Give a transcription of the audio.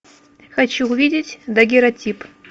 хочу увидеть дагеротип